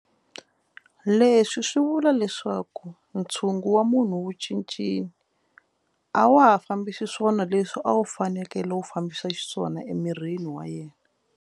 Leswi swi vula leswaku ntshungu wa munhu wu cincile a wa ha fambi xiswona leswi a wu fanekele wu fambisa xiswona emirini wa yena.